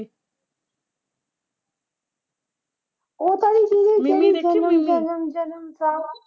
ਉਹ ਤਾਂ ਨਈਂ ਸੀ ਜਿਹੜੀ ਜਨਮ ਜਨਮ ਸਾਥ।